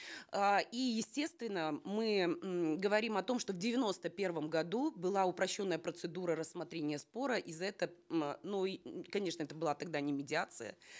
э и естественно мы м говорим о том что в девяносто первом году была упрощенная процедура рассмотрения спора и за это м э ну и конечно это была тогда не медиация